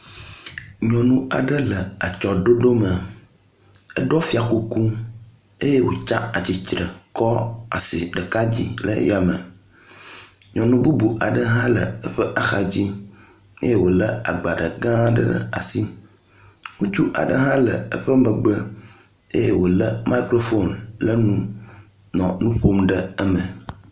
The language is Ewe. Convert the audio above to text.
Nyɔnu aɖe le atsyɔɖoɖo me, eɖɔ fiakuku eye wotsatsitre kɔ asi ɖeka dzi ɖe yame. Nyɔnu bubu aɖe hã le eƒe axadzi eye wole agbalẽ gã aɖe ɖe asi, ŋutsu aɖe hã le eƒe megbe eye wole microphone le nu nɔ nuƒom ɖe eme.